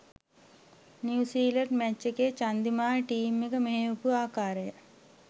New Zealand match එකේ Chandimal team එක මෙහෙයපු ආකාරය.